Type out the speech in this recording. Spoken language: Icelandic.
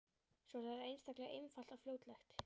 Svo er það einstaklega einfalt og fljótlegt.